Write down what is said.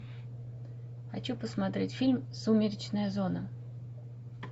хочу посмотреть фильм сумеречная зона